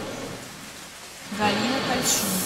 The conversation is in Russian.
галина кальчу